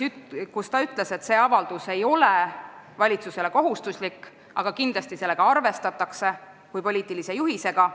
Ta ütles, et see avaldus ei ole valitsusele kohustuslik, aga kindlasti sellega arvestatakse kui poliitilise juhisega.